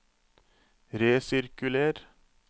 resirkuler